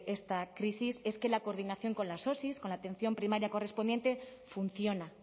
esta crisis es que la coordinación con las osi con la atención primaria correspondiente funciona